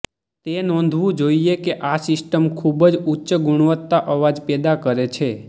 તે નોંધવું જોઇએ કે આ સિસ્ટમ ખૂબ જ ઉચ્ચ ગુણવત્તા અવાજ પેદા કરે છે